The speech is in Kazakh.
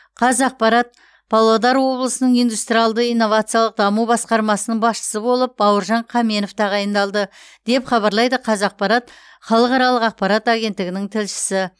қазақпарат павлодар облысының индустриалды инновациялық даму басқармасының басшысы болып бауыржан қаменов тағайындалды деп хабарлайды қазақпарат халықаралық ақпарат агенттігінің тілшісі